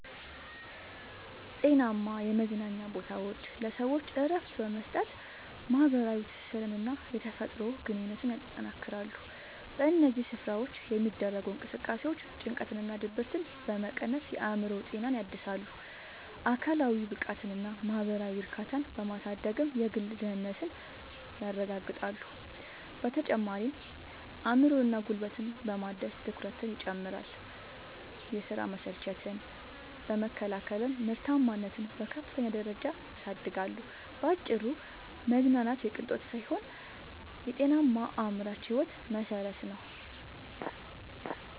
ጤናማ የመዝናኛ ቦታዎች ለሰዎች እረፍት በመስጠት፣ ማኅበራዊ ትስስርንና የተፈጥሮ ግንኙነትን ያጠናክራሉ። በእነዚህ ስፍራዎች የሚደረጉ እንቅስቃሴዎች ጭንቀትንና ድብርትን በመቀነስ የአእምሮ ጤናን ያድሳሉ፤ አካላዊ ብቃትንና ማኅበራዊ እርካታን በማሳደግም የግል ደህንነትን ያረጋግጣሉ። በተጨማሪም አእምሮንና ጉልበትን በማደስ ትኩረትን ይጨምራሉ፤ የሥራ መሰልቸትን በመከላከልም ምርታማነትን በከፍተኛ ደረጃ ያሳድጋሉ። ባጭሩ መዝናናት የቅንጦት ሳይሆን የጤናማና አምራች ሕይወት መሠረት ነው።